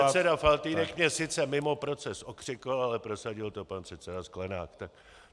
Pan předseda Faltýnek mě sice mimo proces okřikl, ale prosadil to pan předseda Sklenák.